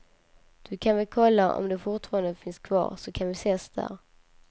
Du kan väl kolla om det fortfarande finns kvar, så kan vi ses där.